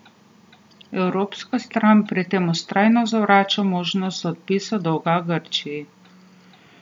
Evropska stran pri tem vztrajno zavrača možnost odpisa dolga Grčiji.